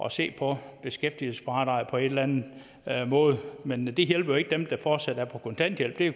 at se på beskæftigelsesfradraget på en eller anden måde men det hjælper jo ikke dem der fortsat er på kontanthjælp det